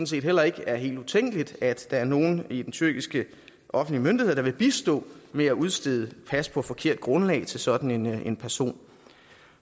set heller ikke er helt utænkeligt at der er nogle i de tyrkiske offentlige myndigheder der vil bistå med at udstede pas på forkert grundlag til sådan en person